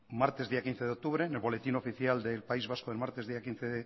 martes día quince de octubre en el boletín oficial del país vasco el martes día quince